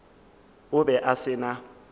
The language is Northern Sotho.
o be a se na